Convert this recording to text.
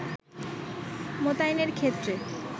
মোতায়েনের ক্ষেত্রে